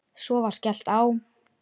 Svo var skellt á.